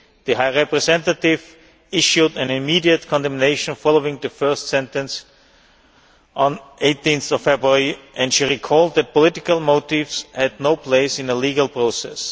The High Representative issued an immediate condemnation following the first sentence on 18 February, and she recalled that political motives had no place in a legal process.